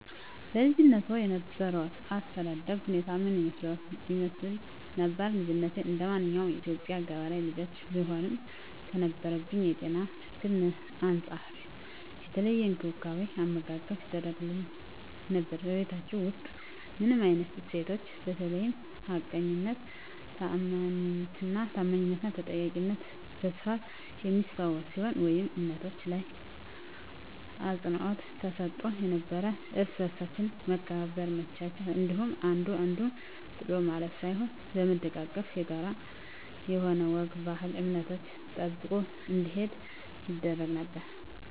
በልጅነትዎ የነበሮት የአስተዳደግ ሁኔታ ምን ይመስል ነበር? ልጅነቴ እንደማንኛውም የኢትዮጵያ ገበሬ ልጆች ብሆንም ከነበረብኝ የጤና እክል አንፃር የተለየ እንክብካቤ አመጋገብ ይደረግግልኝ ነበር በቤታቹ ውስጥ ምን አይነት እሴቶች በተለይ ሀቀኝነት ታአማኒትና ተጠያቂነት በስፋት የሚስተዋል ሲሆን ወይም እምነቶች ላይ አፅንዖት ተሰጥቶ ነበረው እርስ በርሳችን መከባበር መቻቻል እንዲኖር አንዱ አንዱን ጥሎ ለማለፍ ሳይሆን በመደጋገፍ የጋራ የሆኑ ወግ ባህል እምነቶችን ጠብቀን እንድንሄድ ይደረግ ነበር